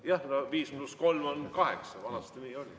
Jah, no viis pluss kolm on kaheksa, vanasti nii oli.